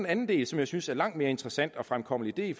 anden del som jeg synes er langt mere interessant og fremkommelig det